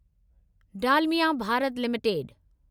Dalmia Bharat limited